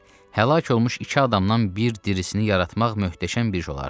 Həlak olmuş iki adamdan bir dirisini yaratmaq möhtəşəm bir iş olardı.